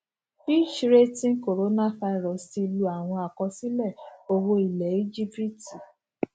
fitch ratings coronavirus ti lu àwọn àkọsílẹ owo ilẹ egypts